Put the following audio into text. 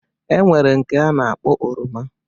E nwere nke a na-akpọ oroma